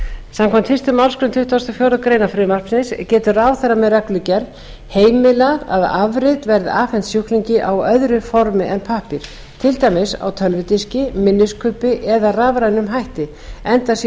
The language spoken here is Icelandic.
samkvæmt fyrstu málsgrein tuttugustu og fjórðu grein frumvarpsins getur ráðherra með reglugerð heimilað að afrit verði afhent sjúklingi á öðru formi en pappír til dæmis á tölvudiski minniskubbi eða með rafrænum hætti enda sé